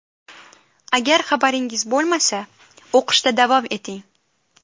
Agar xabaringiz bo‘lmasa, o‘qishda davom eting!